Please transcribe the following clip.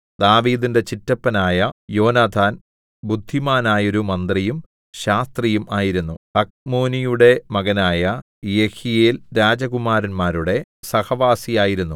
ദാവീദിന്റെ ചിറ്റപ്പനായ യോനാഥാൻ ബുദ്ധിമാനായൊരു മന്ത്രിയും ശാസ്ത്രിയും ആയിരുന്നു ഹഖ്മോനിയുടെ മകനായ യെഹീയേൽ രാജകുമാരന്മാരുടെ സഹവാസി ആയിരുന്നു